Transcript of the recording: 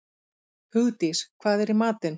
Hugdís, hvað er í matinn?